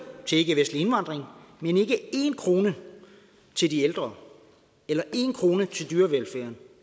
til ikkevestlig indvandring men ikke én krone til de ældre eller én krone til dyrevelfærd